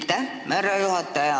Aitäh, härra juhataja!